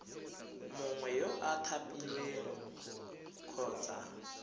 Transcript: mongwe yo o thapilweng kgotsa